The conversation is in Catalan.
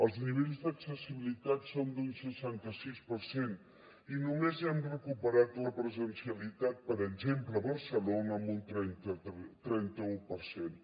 els nivells d’accessibilitat són d’un seixanta sis per cent i només hem recuperat la presencialitat per exemple a barcelona amb un trenta u per cent